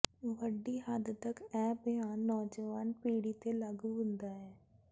ਵੱਡੀ ਹੱਦ ਤਕ ਇਹ ਬਿਆਨ ਨੌਜਵਾਨ ਪੀੜ੍ਹੀ ਤੇ ਲਾਗੂ ਹੁੰਦਾ ਹੈ